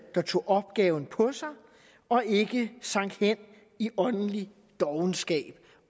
der tog opgaven på sig og ikke sank hen i åndelig dovenskab